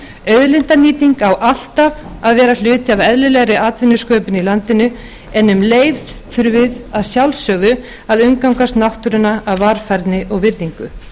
auðlindanýting á alltaf að vera hluti af eðlilegri atvinnusköpun í landinu en um leið þurfum við að sjálfsögðu að umgangast náttúruna af varfærni og virðingu